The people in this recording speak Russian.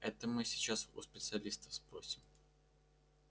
это мы сейчас у специалистов спросим